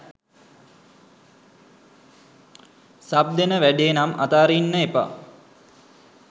sub දෙන වැඩේ නම් අතාරින්න එපා